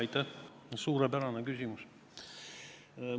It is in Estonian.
Aitäh, suurepärane küsimus!